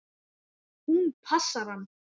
Hún passar hann!